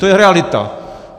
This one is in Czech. To je realita.